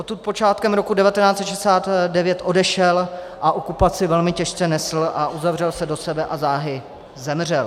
Odtud počátkem roku 1969 odešel a okupaci velmi těžce nesl a uzavřel se do sebe a záhy zemřel.